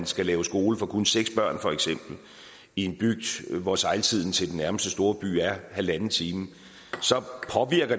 skal lave skole for kun seks børn i en bygd hvor sejltiden til den nærmeste store by er halvanden time